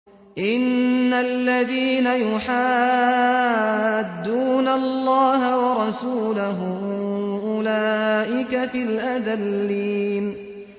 إِنَّ الَّذِينَ يُحَادُّونَ اللَّهَ وَرَسُولَهُ أُولَٰئِكَ فِي الْأَذَلِّينَ